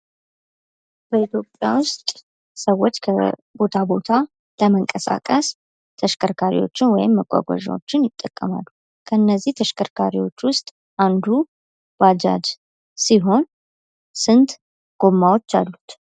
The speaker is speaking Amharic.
በኢትዮጵያ ዉስጥ ሰዎች ከቦታ ቦታ ለመንቀሳቀስ ተሽከርካሪዎችን ወይም መጓጓዣዎችን ይጠቀማሉ። ከነዚህ ተሽከርካሪዎች ዉስጥ አንዱ ባጃጅ ሲሆን ስንት ጎማዎች አሉት?